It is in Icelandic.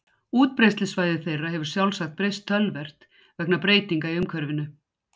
útbreiðslusvæði þeirra hefur sjálfsagt breyst töluvert vegna breytinga í umhverfinu